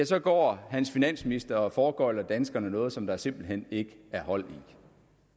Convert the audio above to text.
så går hans finansminister og foregøgler danskerne noget som der simpelt hen ikke er hold i